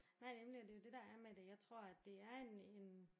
Nej nemlig og det er jo det der er med det jeg tror at det er en en